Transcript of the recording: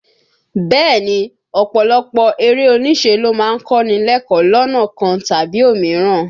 Bẹ́ẹ̀ ni, ọ̀pọ̀lọpọ̀ eré oníṣe ló má ń kọ́ ni lẹ́kọ̀ọ́ lọ́nà kan tàbí òmíràn